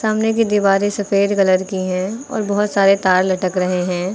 कमरे की दीवारें सफेद कलर की हैं और बहुत सारे तार लटक रहे हैं।